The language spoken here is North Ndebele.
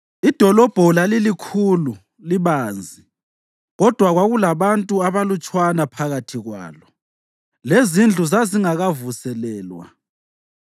Idolobho lalilikhulu libanzi, kodwa kwakulabantu abalutshwana phakathi kwalo, lezindlu zazingakavuselelwa.